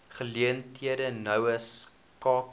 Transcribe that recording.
geleenthede noue skakeling